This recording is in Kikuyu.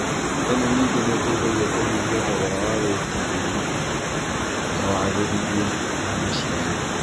ĩno ningĩ nĩ ĩteithagia kũnyihia thogora wa wĩĩtĩrĩria na wagĩrithia wa maciaro.